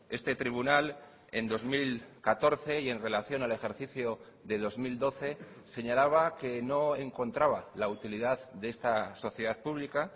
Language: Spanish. este tribunal en dos mil catorce y en relación al ejercicio de dos mil doce señalaba que no encontraba la utilidad de esta sociedad pública